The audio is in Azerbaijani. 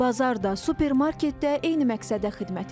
Bazar da, supermarket də eyni məqsədə xidmət edir.